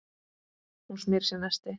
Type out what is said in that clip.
Hún smyr sér nesti.